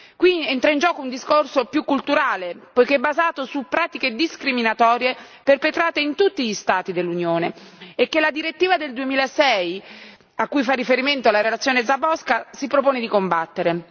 Qui entra in gioco un discorso più culturale poiché basato su pratiche discriminatorie perpetrate in tutti gli Stati dell'Unione e che la direttiva del 2006, a cui fa riferimento la relazione Záborská, si propone di combattere.